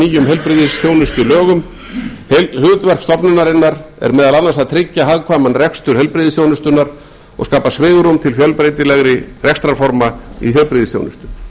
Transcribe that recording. nýjum heilbrigðisþjónustulögum hlutverk stofnunarinnar er meðal annars að tryggja hagkvæman rekstur heilbrigðisþjónustunnar og skapa svigrúm til fjölbreytilegri rekstrarforma í heilbrigðisþjónustu